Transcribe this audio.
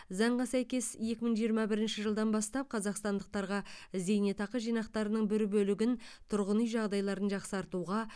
заңға сәйкес екі мың жиырма бірінші жылдан бастап қазақстандықтарға зейнетақы жинақтарының бір бөлігін тұрғын үй жағдайларын жақсартуға